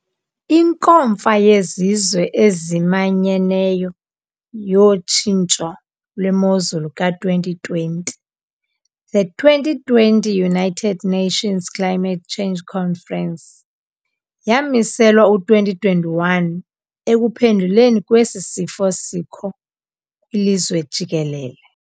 INkomfa yeZizwe eziManyeneyo yoTshintsho lweMozulu ka 2020, The 2020 United Nations Climate Change Conference, yamiselwa u-2021 ekuphenduleni kwesi sifo sikho kwilizwe jikelele